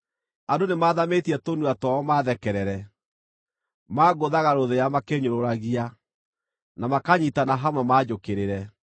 Andũ nĩmathamĩtie tũnua twao maathekerere; mangũthaga rũthĩa makĩĩnyũrũragia, na makanyiitana hamwe manjũkĩrĩre.